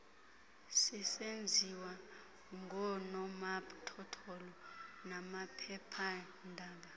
sisenziwa ngoonomathotholo namaphephaandaba